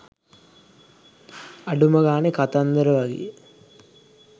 අඩුම ගානෙ කතන්දර වගේ